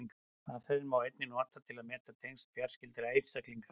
Aðferðina má einnig nota til að meta tengsl fjarskyldari einstaklinga.